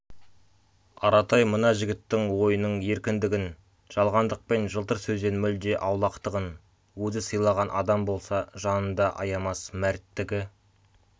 аратай мына жігіттің ойының еркіндігін жалғандық пен жылтыр сөзден мүлде аулақтығын өзі сыйлаған адам болса жанында аямас мәрттігі